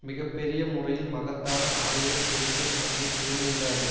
மிக பெரிய முறையில் மகத்தான ஆயுத பெருக்கம் நம்மை சூழ்ந்து விடாது